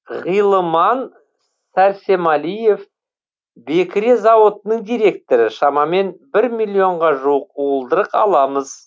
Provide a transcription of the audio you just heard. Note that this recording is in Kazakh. ғилыман сәрсемәлиев бекіре зауытының директоры шамамен бір миллионға жуық уылдырық аламыз